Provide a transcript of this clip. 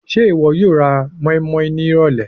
Ṣe iwọ yoo ra moinmoin ni irọlẹ ọla?